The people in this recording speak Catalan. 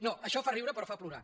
no això fa riure però fa plorar